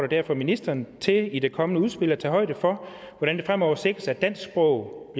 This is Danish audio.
derfor ministeren til i det kommende udspil at tage højde for hvordan det fremover sikres at dansk sprog